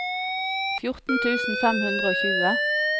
fjorten tusen fem hundre og tjue